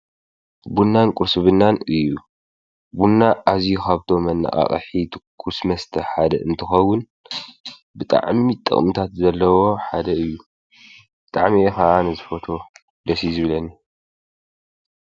ቡናን ቊርስ ብናን እዩ። ቡና ኣዙይ ኻብቶ መነቓቓሒ ትኩስ መስተሕ ሓደ እንትኸውን፤ ብጠዕሚ ጠቕሙታት ዘለዎ ሓደ እዩ ። ጠዕሚየኸዓን ዝፈቶ ደሲይ ዝብለኒ።